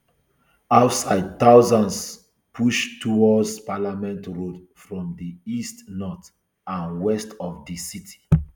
outside thousands push towards parliament road from di east north and west of di city